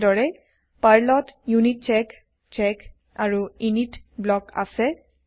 একেদৰে পাৰ্লত য়িউনিতচেক চেক আৰু ইনিত ব্লক আছে